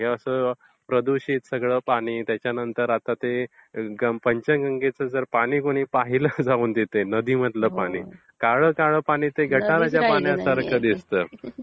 आणि प्रदूषित सगळं पाणी आणि आता पंचगंगेचं पाणी जर पाहिलं जाऊन कुणी तिथे नदीचे पाणी- काळं काळं पाणी दिसते गटाराच्या पाण्यासारखा दिसते.